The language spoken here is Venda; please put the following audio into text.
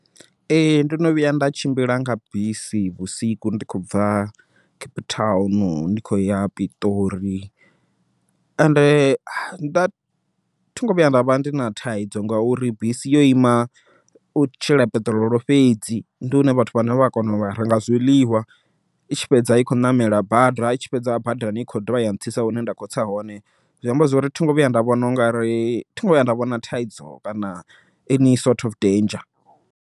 Ee ndono vhuya nda tshimbila nga bisi vhusiku ndi kho bva Cape Town ndi khou ya Piṱori, ende nda thungo vhuya nda vha ndi na thaidzo ngauri bisi yo ima, u tshela peṱirolo fhedzi ndi hune vhathu vhane vha kona u renga zwiḽiwa i tshi fhedza i khou ṋamela bada i tshi fhedza badani i khou dovha ya ntsitsa hune nda kho tsa hone, zwi amba zwori thingo vhuya nda vhona ungari thingo vhuya nda vhona thaidzo kana any sort of danger.